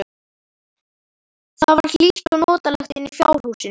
Það var hlýtt og notalegt inni í fjárhúsinu.